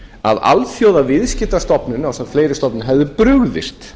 að alþjóðaviðskiptastofnunin ásamt fleiri stofnunum hefðu brugðist